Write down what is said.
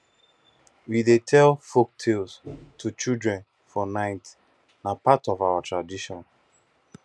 we dey tell folktales to children for night na part of our tradition